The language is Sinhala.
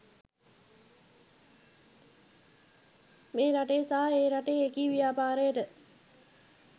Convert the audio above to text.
මේ රටේ සහ ඒ රටේ එකී ව්‍යාපාරයට